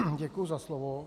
Děkuji za slovo.